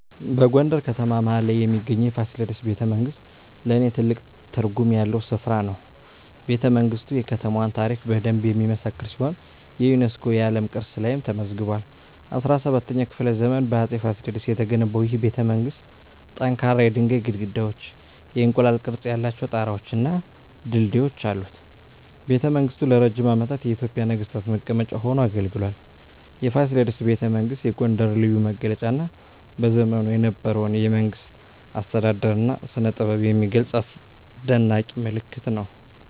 በጎንደር ከተማ መሀል ላይ የሚገኘው የፋሲለደስ ቤተመንግሥት ለኔ ትልቅ ትርጉም ያለው ስፍራ ነው። ቤተመንግስቱ የከተማዋን ታሪክ በደንብ የሚመሰክር ሲሆን የዩኔስኮ የዓለም ቅርስ ላይም ተመዝግቧል። በ17ኛው ክፍለ ዘመን በአፄ ፋሲለደስ የተገነባው ይህ ቤተመንግሥት ጠንካራ የድንጋይ ግድግዳዎች፣ የእንቁላል ቅርፅ ያላቸው ጣራወች እና ድልድዮች አሉት። ቤተመንግሥቱ ለረጅም ዓመታት የኢትዮጵያ ነገሥታት መቀመጫ ሆኖ አገልግሏል። የፋሲለደስ ቤተመንግሥት የጎንደርን ልዩ መገለጫ እና በዘመኑ የነበረውን የመንግሥት አስተዳደር እና ስነጥበብ የሚገልጽ አስደናቂ ምልክት ነው።